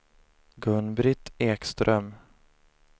Gun-Britt Ekström